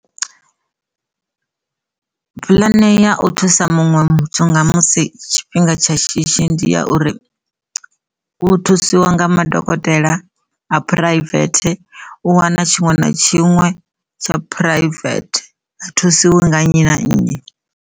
Pulane ya u thusa muṅwe muthu nga musi tshifhinga tsha shishi ndi ya uri u thusiwa nga madokotela a phuraivethe u wana tshiṅwe na tshiṅwe tsha phuraivethe ha thusiwa nga nnyi na nnyi.